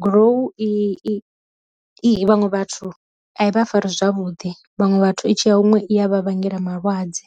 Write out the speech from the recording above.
gurowu i vhaṅwe vhathu a vha fari zwavhuḓi vhaṅwe vhathu itshi ya huṅwe i ya vha vhangela malwadze.